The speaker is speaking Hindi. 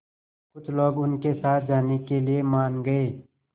कुछ लोग उनके साथ जाने के लिए मान गए